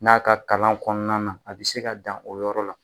N'a ka kalan kɔnɔna na a bi se ka dan o yɔrɔ la.